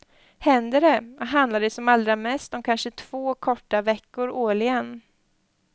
Händer det, handlar det som allra mest om kanske två korta veckor årligen.